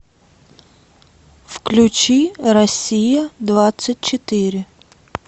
включи россия двадцать четыре